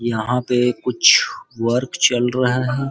यहां पे कुछ वर्क चल रहा है।